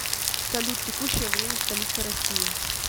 салют текущее время в столице россии